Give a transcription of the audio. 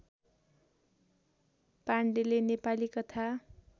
पाण्डेले नेपाली कथा